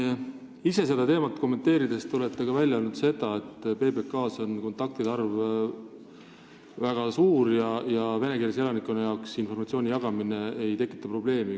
Te ise olete seda teemat kommenteerides välja öelnud ka seda, et PBK-s on kontaktide arv väga suur ja venekeelsele elanikkonnale informatsiooni jagamine ei tekita probleemi.